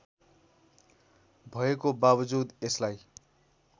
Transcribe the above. भएको बावजुद यसलाई